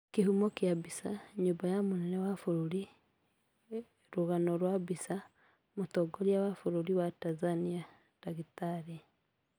Kĩhumo kĩa mbica, nyũmba ya mũnene wa bũrũri Rũgano rwa mbica, Mũtongoria wa bũrũri wa Tanzania Dkt.